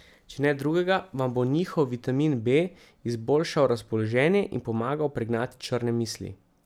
Če ne drugega, vam bo njihov vitamin B izboljšal razpoloženje in pomagal pregnati črne misli.